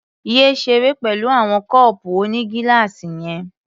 Yé ṣeré pẹ̀lú àwọn kọ́ọ̀pù onígíláàsì yẹn.